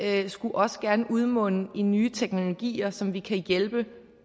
af det skulle også gerne udmunde i nye teknologier som vi kan hjælpe